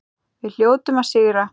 Við hljótum að sigra